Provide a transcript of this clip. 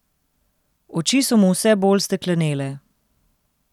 Oči so mu vse bolj steklenele.